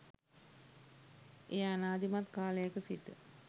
එය ආනාදිමත් කාලයක සිට